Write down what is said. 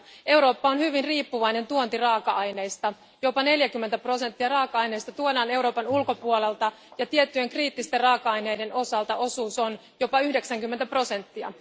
Eurooppa on hyvin riippuvainen tuontiraaka aineista, jopa 40 prosenttia raaka aineista tuodaan Euroopan ulkopuolelta, ja tiettyjen kriittisten raaka aineiden osalta osuus on jopa 90 prosenttia.